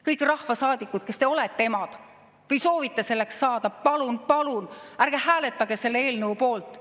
Kõik rahvasaadikud, kes te olete emad või soovite selleks saada: palun-palun ärge hääletage selle eelnõu poolt!